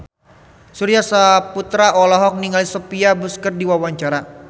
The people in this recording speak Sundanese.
Surya Saputra olohok ningali Sophia Bush keur diwawancara